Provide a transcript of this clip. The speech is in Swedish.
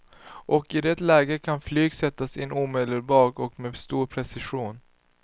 Och i det läget kan flyg sättas in omedelbart och med stor precision.